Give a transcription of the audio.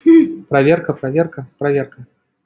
хм проверка проверка проверка